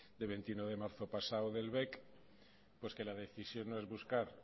de veintiuno de marzo pasado del bec pues que la decisión no es buscar